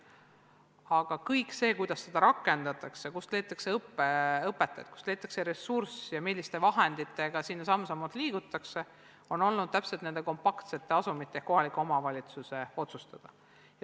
Aga kõik see, kuidas seda rakendatakse, kust leitakse õpetajad, kust leitakse ressurss ja milliste vahenditega samm-sammult edasi liigutakse, on olnud nende kompaktsete asumite ehk kohaliku omavalitsuse otsustada.